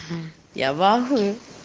я в ахуе